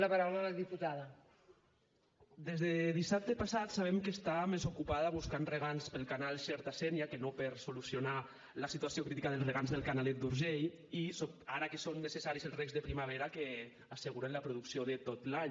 des de dissabte passat sabem que està més ocupada buscant regants per al canal xerta sénia que no per solucionar la situació crítica dels regants del canalet d’urgell i ara que són necessaris els regs de primavera que asseguren la producció de tot l’any